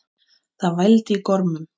Það vældi í gormum.